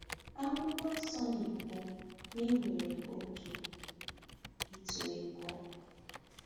Akwụkwọ Nsọ na-ekwu na e nwere “oge ịtụ egwu.”